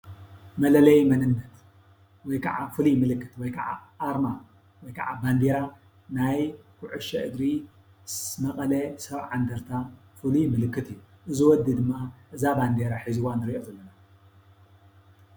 መለለይ መንነት፣ ወይ ካዓ ፍሉይ ምልክት ወይ ካዓ ኣርማ ወይ ካዓ ባንዴራ ናይ ኩዕሶ እግሪ መቐለ 70 እንድርታ ፍሉይ ምልክት እዩ። እዚ ወዲ ድማ እዛ ባንዴራ ሒዝዋ ንሪኦ ዘለና።